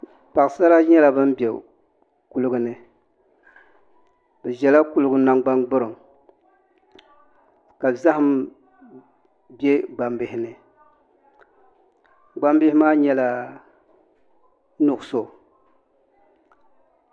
Paɣasara nyɛla bin bɛ kuligi ni bi ʒɛla kuligi nangbani gburiŋ ka zaham bɛ gbambihi ni gbambihi maa nyɛla nuɣso